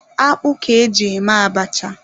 Akpụ ka e ji eme abacha.